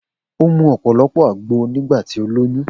O mu ọ̀pọ̀lọpọ̀ àgbo nígbà tí ó lóyún